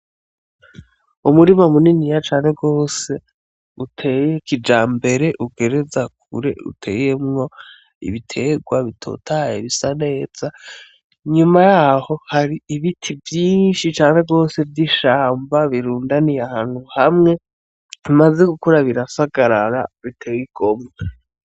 Umurima muniniya cane gose uteye kijambere ugereza kure uteyemwo ibiterwa bitotaye bisa neza, nyuma yaho hari ibiti vyinshi cane gose vy'ishamba birundaniye ahantu hamwe bimaze gukura birasagarara biteye igomwe.